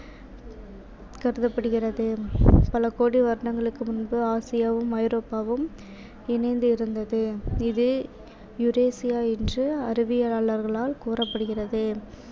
கருதப்படுகிறது. பல கோடி வருடங்களுக்கு முன்பு ஆசியாவும் ஐரோப்பாவும் இணைந்து இருந்தது இது யூரேசியா என்று அறிவியலாளர்களால் கூறப்படுகிறது